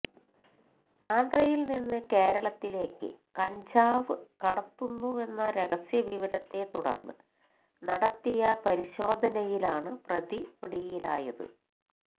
ആന്ധ്രയിൽ നിന്ന് കേരളത്തിലേക്ക് കഞ്ചാവ് കടത്തുന്നുവെന്ന രഹസ്യവിവരത്തെ തുടർന്ന് നടത്തിയ പരിശോധനയിലാണ് പ്രതി പിടിയിലായത്